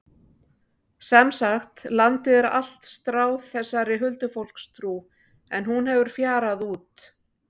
Sem sagt, landið er allt stráð þessari huldufólkstrú en hún hefur fjarað út.